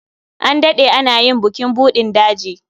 An daɗe ana yin bukin buɗin daji.